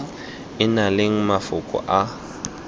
e nang le mafoko a